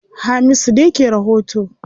Hamisu ne ke rahoto.